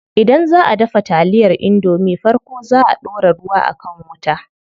Idan zaʼa dafa taliyar indomie farko zaa a ɗora ruwa a kan wuta.